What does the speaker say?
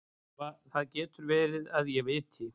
Það getur verið að ég viti.